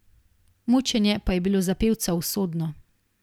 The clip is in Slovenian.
Mučenje pa je bilo za pevca usodno.